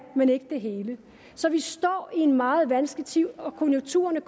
men ikke det hele så vi står i en meget vanskelig tid og konjunkturerne